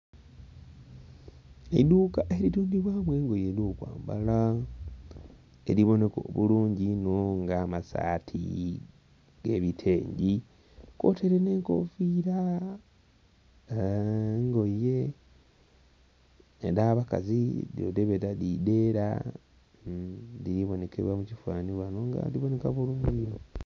Eidhuuka eritundhibwa mu engoye edhokwambala edhibooneka obulungi inho nga amasaati, nga ebitengi kwotaire n'enkofira aghalala n'engoye edh'abakazi dhino dhebeta dhi dheera dhiri boonekera mukifanhani ghano nga dhiri booneka bulungi inho.